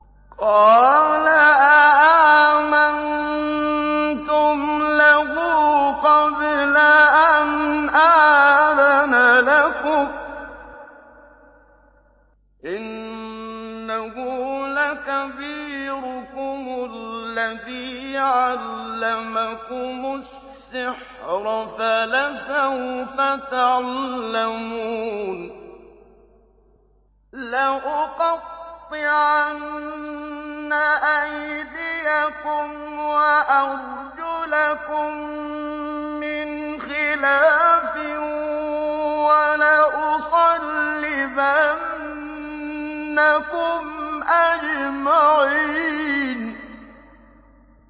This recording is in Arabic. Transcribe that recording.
قَالَ آمَنتُمْ لَهُ قَبْلَ أَنْ آذَنَ لَكُمْ ۖ إِنَّهُ لَكَبِيرُكُمُ الَّذِي عَلَّمَكُمُ السِّحْرَ فَلَسَوْفَ تَعْلَمُونَ ۚ لَأُقَطِّعَنَّ أَيْدِيَكُمْ وَأَرْجُلَكُم مِّنْ خِلَافٍ وَلَأُصَلِّبَنَّكُمْ أَجْمَعِينَ